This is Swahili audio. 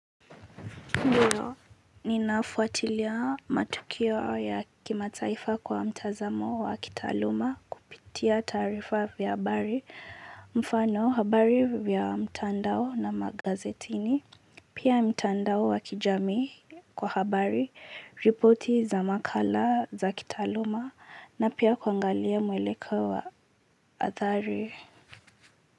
Ndiyo, ninafuatilia matukio ya kimataifa kwa mtazamo wa kitaaluma kupitia taarifa ya habari mfano habari ya mtandao na magazetini, pia mtandao waki jami kwa habari, ripoti za makala za kitaaluma na pia kuangalia mwelekeo wa athari.